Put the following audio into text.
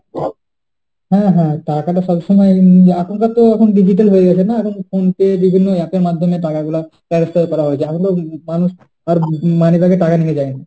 হ্যাঁ হ্যাঁ, টাকাটা সবসময়ই আপাতত এখন digital হয়ে গেছে না, এখন তো phone pay বিভিন্ন app এর মাধ্যমে টাকা গুলা transfer হয়ে যায়। এখন তো মানুষ উম money bag এ টাকা নিয়ে যায় না